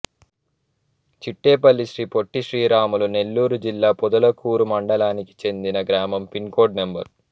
చిట్టేపల్లి శ్రీ పొట్టి శ్రీరాములు నెల్లూరు జిల్లా పొదలకూరు మండలానికి చెందిన గ్రామం పిన్ కోడ్ నం